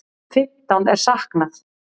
Fimmtán er saknað.